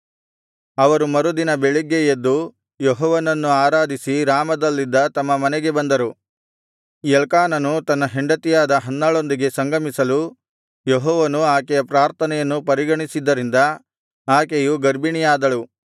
ಅವರು ಮರುದಿನ ಬೆಳಿಗ್ಗೆ ಎದ್ದು ಯೆಹೋವನನ್ನು ಆರಾಧಿಸಿ ರಾಮದಲ್ಲಿದ್ದ ತಮ್ಮ ಮನೆಗೆ ಬಂದರು ಎಲ್ಕಾನನು ತನ್ನ ಹೆಂಡತಿಯಾದ ಹನ್ನಳೊಂದಿಗೆ ಸಂಗಮಿಸಲು ಯೆಹೋವನು ಆಕೆಯ ಪ್ರಾರ್ಥನೆಯನ್ನು ಪರಿಗಣಿಸಿದ್ದರಿಂದ ಆಕೆಯು ಗರ್ಭಿಣಿಯಾದಳು